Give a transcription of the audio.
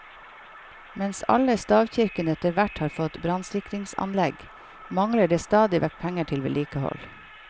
Mens alle stavkirkene etterhvert har fått brannsikringsanlegg, mangler det stadig vekk penger til vedlikehold.